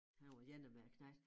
Han var 1 af mine knejt